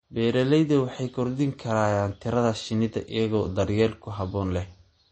Beeralayda waxay kordhin karaan tirada shinnida iyagoo daryeel ku habboon leh.